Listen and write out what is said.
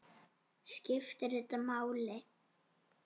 Skiptir þetta máli?